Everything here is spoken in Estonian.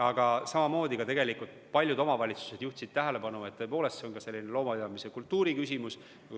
Aga jah, samamoodi paljud omavalitsused juhtisid tähelepanu, et tõepoolest see on ka loomapidamise kultuuri küsimus.